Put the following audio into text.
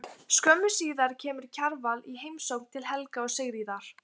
Skömmu síðar kemur Kjarval í heimsókn til Helga og Sigríðar.